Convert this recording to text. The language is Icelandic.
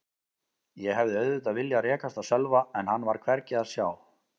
Ég hefði auðvitað viljað rekast á Sölva en hann var hvergi að sjá.